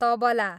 tabla